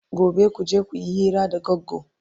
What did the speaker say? Gobe kuje kuyi hira da Goggo!